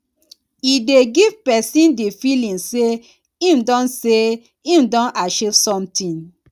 e dey give person di feeling sey im don sey im don achive something